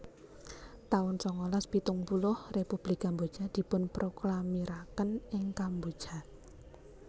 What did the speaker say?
taun sangalas pitung puluh Republik Kamboja dipunproklamiraken ing Kamboja